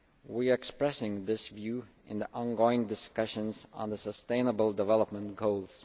We are expressing this view in the on going discussions on the sustainable development goals.